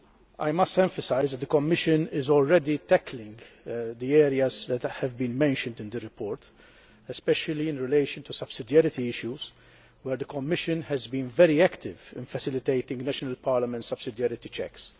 I must emphasise that the Commission is already tackling the areas that have been mentioned in the report, especially in relation to subsidarity issues, where the Commission has been very active in facilitating national parliament subsidarity checks.